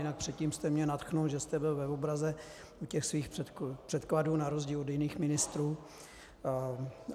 Jinak předtím jste mě nadchnul, že jste byl v obraze u těch svých předkladů, na rozdíl od jiných ministrů.